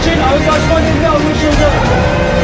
Hədəf üçün ayzlaşma dili anlaşıldı.